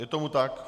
Je tomu tak.